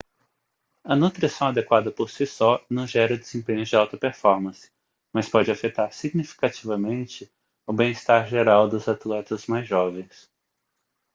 a nutrição adequada por si só não gera desempenhos de alta performance mas pode afetar significativamente o bem-estar geral dos atletas mais jovens